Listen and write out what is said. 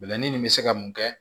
Bɛlɛnin nin bɛ se ka mun kɛ